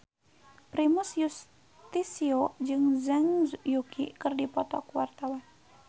Primus Yustisio jeung Zhang Yuqi keur dipoto ku wartawan